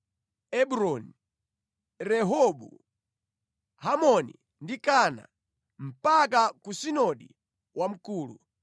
Ebroni, Rehobu, Hamoni, ndi Kana, mpaka ku Sidoni Wamkulu.